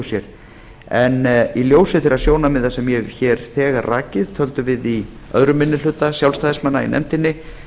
sér en í ljósi þeirra sjónarmiða sem ég hef hér þegar rakið töldum við aðra minni hluta sjálfstæðismanna í nefndinni